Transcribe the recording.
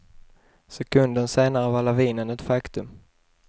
Sekunden senare var lavinen ett faktum.